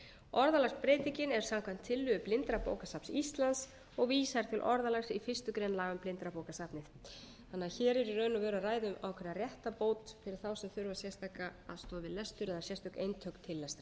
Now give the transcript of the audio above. orðalagsbreytingin er samkvæmt tillögu blindrabókasafns íslands og vísar til orðalags í fyrstu grein laga um blindrabókasafnið hér er því í raun og veru að ræða um ákveðna réttarbót fyrir þá sem þurfa sérstaka aðstoð við lestur eða sérstök eintök til lestrar